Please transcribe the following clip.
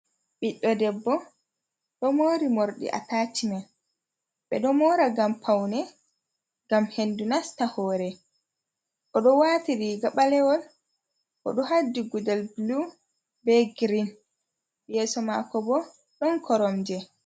Ɓiɗɗo debbo ɗo moori mordi atachimen ɓe ɗo moora ngam paune, ngam hendu nasta hoore, oɗo waati riga ɓalewol oɗo haddi gudel bulu be green, yeeso mako bo ɗon koromje.